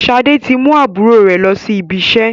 Sade tí mú àbúrò rẹ lọ sí ibi iṣẹ́